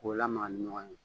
K'o lamaga ni ɲɔgɔn ye